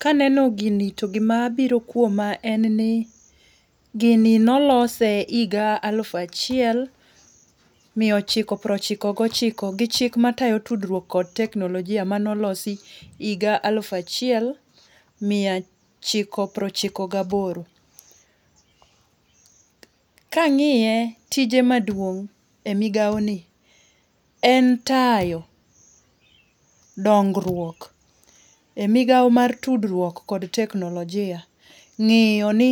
Ka aneno gini to gima biro kuoma en ni, gini ne olose higa alufu achiel miya ochiko piero ochiko gochiko gi chik matayo tudruok kod teknolojia mane olosi higa alufu achiel miyaochiko piero ochiko gi aboro. Ka ng'iye tije maduong' e migawoni en tayo dongruok e migawo mar tudruok kod teknolojia ng'iyo ni